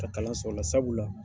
Ka kalan sɔrɔ o la sabula.